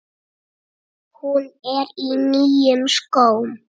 Hún er í nýjum skóm.